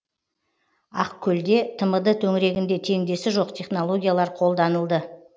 ақкөлде тмд төңірегінде теңдесі жоқ технологиялар қолданылды